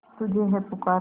तुझे है पुकारा